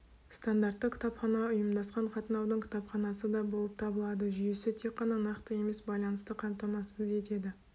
стандартты кітапхана ұйымдасқан қатынаудың кітапханасы да болып табылады жүйесі тек қана нақты емес байланысты қамтамасыз етеді